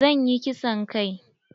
Zan yi kisan kai.